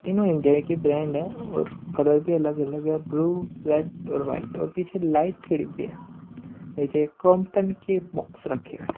तीनों इंडिया के ब्रांड है और कलर भी अलग-अलग है ब्लू रेड और वाइट और पीछे लाइट के डिब्बे हैं नीचे क्रोमटन के बॉक्स रखी हुई है।